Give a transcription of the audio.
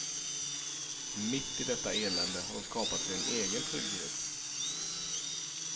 Mitt i detta elände har de skapat sig en egen trygghet.